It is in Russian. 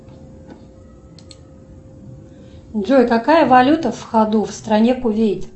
джой какая валюта в ходу в стране кувейт